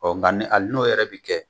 Ɔ nka hali n'o yɛrɛ bɛ kɛ